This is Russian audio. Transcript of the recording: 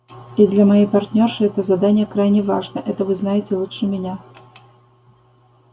и для моей партнёрши это задание крайне важно это вы знаете лучше меня